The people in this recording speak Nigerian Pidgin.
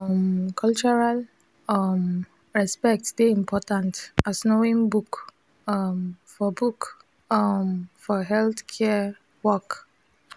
um cultural um respect dey important as knowing book um for book um for healthcare work